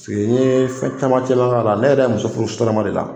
n ye fɛn caman cɛla la ne yɛrɛ ye muso furu sotarama de la